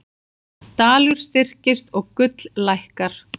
Dalur styrkist og gull lækkar